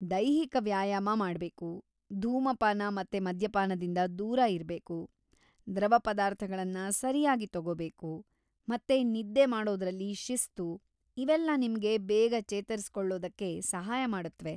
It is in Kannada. ದೈಹಿಕ ವ್ಯಾಯಾಮ ಮಾಡ್ಬೇಕು, ಧೂಮಪಾನ ಮತ್ತೆ ಮದ್ಯಪಾನದಿಂದ ದೂರ ಇರ್ಬೇಕು, ದ್ರವ ಪದಾರ್ಥಗಳನ್ನ ಸರ್ಯಾಗಿ ತಗೋಬೇಕು ಮತ್ತೆ ನಿದ್ದೆ ಮಾಡೋದ್ರಲ್ಲಿ ಶಿಸ್ತು - ಇವೆಲ್ಲ ನಿಮ್ಗೆ ಬೇಗ ಚೇತರಿಸ್ಕೊಳ್ಳೋದಕ್ಕೆ ಸಹಾಯ ಮಾಡುತ್ವೆ.